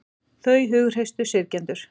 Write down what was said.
Þau hughreystu syrgjendur